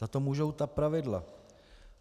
Za to můžou ta pravidla.